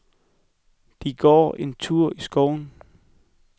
De går en tur i skoven.